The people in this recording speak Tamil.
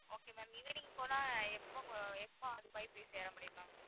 okay ma'am evening போனா எப்ப அங்க்~ எப்ப துபாய் போய் சேர முடியும் ma'am